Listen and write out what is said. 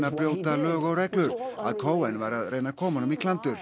að brjóta lög og reglur að Cohen væri að reyna að koma honum í klandur